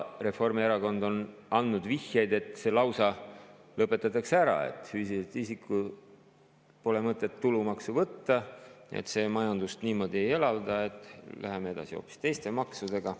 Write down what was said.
Reformierakond on andnud vihjeid, et see lausa lõpetatakse ära, et füüsiliselt isikult pole mõtet tulumaksu võtta, see majandust niimoodi ei elavda, et läheme edasi hoopis teiste maksudega.